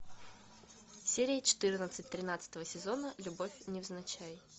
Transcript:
серия четырнадцать тринадцатого сезона любовь невзначай